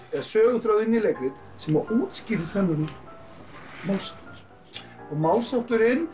eða söguþráð inn í leikrit sem útskýrir þennan málshátt og málshátturinn